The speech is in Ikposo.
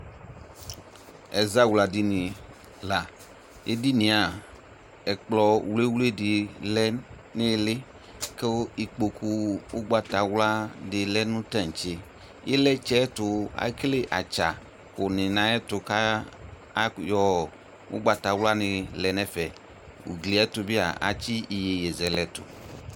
Ɛzawladini la Edini yɛ a, ɛkplɔ wliwli dɩ lɛ nʋ ɩɩlɩ kʋ ikpoku ʋgbatawla dɩ lɛ nʋ taŋtse Ɩlɩtsɛ tʋ ekele atsa kʋnɩ nʋ ayɛtʋ kʋ ak yɔ ʋgbatawlanɩ lɛ nʋ ɛfɛ Ugli yɛ tʋ bɩ a, atsɩ iyeye zɛlɛ tʋ